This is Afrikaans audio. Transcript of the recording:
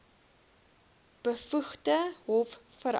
bevoegde hof vereis